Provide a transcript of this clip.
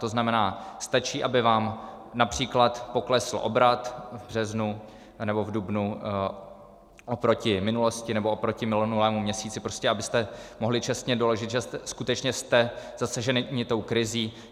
To znamená, stačí, aby vám například poklesl obrat v březnu anebo v dubnu oproti minulosti nebo oproti minulému měsíci, prostě abyste mohli čestně doložit, že skutečně jste zasaženi tou krizí.